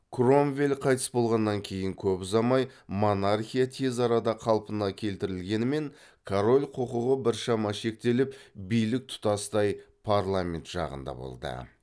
кромвель қайтыс болғаннан кейін көп ұзамай монархия тез арада қалпына келтірілгенімен король құқығы біршама шектеліп билік тұтастай парламент жағында болды